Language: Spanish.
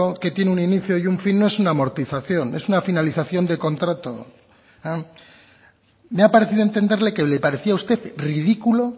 que tiene un inicio y un fin no es una amortización es una finalización de contrato me ha parecido entenderle que le parecía a usted ridículo